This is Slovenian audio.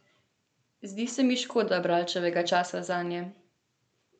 Zdi se mi škoda bralčevega časa zanje.